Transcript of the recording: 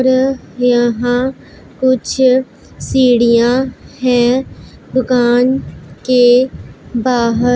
र यहां कुछ सीढ़ियां है दुकान के बाहर--